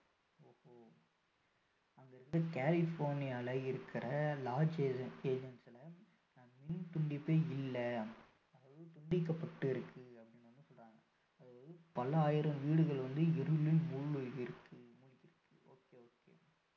இது வந்து கலிபோர்னியால இருக்கிற லாஸ் ஏஞ்செல்ஸ்ல மின் துண்டிப்பு இல்லை மின் துண்டிக்கப்பட்டிருக்கு அப்படின்னு வந்து சொல்றாங்க அதாவது பல்லாயிரம் வீடுகள் வந்து இருளில் முழ்கி இருக்கு okay okay